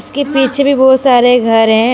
इसके पीछे भी बहोत सारे घर हैं।